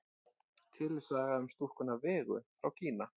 Til er saga um stúlkuna Vegu frá Kína.